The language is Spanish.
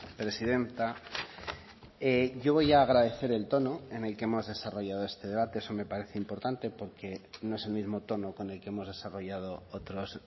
presidenta yo voy a agradecer el tono en el que hemos desarrollado este debate eso me parece importante porque no es el mismo tono con el que hemos desarrollado otros